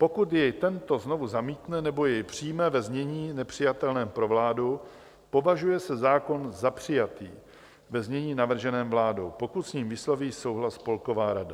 Pokud jej tento znovu zamítne nebo jej přijme ve znění nepřijatelném pro vládu, považuje se zákon za přijatý ve znění navrženém vládou, pokud s ním vysloví souhlas Spolková rada.